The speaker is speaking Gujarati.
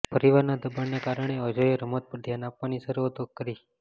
પરિવારના દબાણને કારણે અજયે રમત પર ધ્યાન આપવાની શરૂઆત કરી